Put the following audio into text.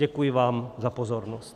Děkuji vám za pozornost.